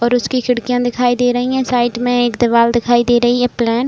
और उसकी खिड़कियाँ दिखाई दे रही हैं। साइड में एक दीवाल दिखाई दे रही है प्लैन --